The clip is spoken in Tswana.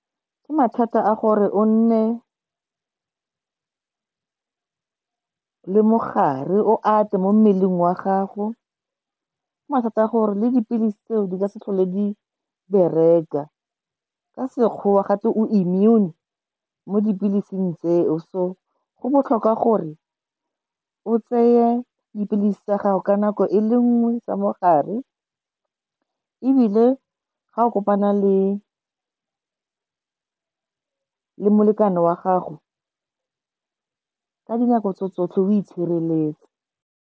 Ke mathata a gore o nne le mogare, o ate mo mmeleng wa gago. Ke mathata a gore le dipilisi tse o di ka se tlhole di bereka, ka sekgowa gatwe o immune mo dipilising tse o. So go botlhokwa gore o tseye dipilisi tsa gago ka nako e le nngwe tsa mogare, ebile ga o kopana le molekane wa gago ka dinako tso tsotlhe, o itshireletse.